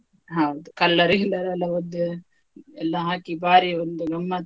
ಹೌದು, colour ಗಿಲ್ಲರ್ ಎಲ್ಲ ಒದ್ದು ಎಲ್ಲ ಹಾಕಿ ಬಾರಿ ಒಂದು ಗಮ್ಮತ್.